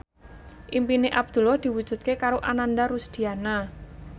impine Abdullah diwujudke karo Ananda Rusdiana